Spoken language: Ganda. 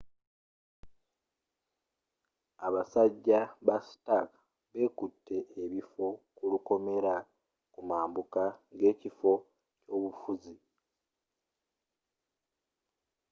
abasajja ba stark bekutte ebifo ku lukomera ku mabuka g'ekifo ky'obufuzi